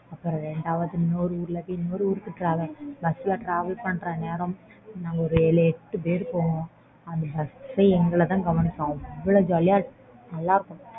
இரண்டு மணி நேரம் bus travel பண்ணி இன்னொரு ஊருக்கு போய் இன்னொரு ஊருக்கு travel பண்ணுற நேரம் நம்ம ஒரு ஏழு எட்டு பேறு போவோம் அந்த bus எங்களை தான் கவனிக்கும் அவ்ளோ jolly யா இருக்கும் விளையாடிட்டு நல்லா இருக்கும்